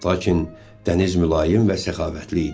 Lakin dəniz mülayim və səxavətli idi.